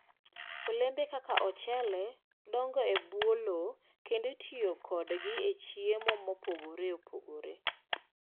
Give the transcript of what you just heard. Olembe kaka ochele dongo e bwo lowo kendo itiyo kodgi e chiemo mopogore opogore.